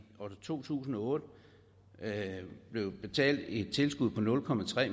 to tusind og otte blev betalt et tilskud på nul